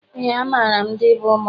Eé, amaara m ndị bụ ụmụada.